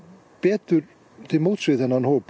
betur til móts við þennan hóp